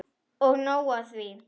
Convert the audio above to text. Og nóg er af því.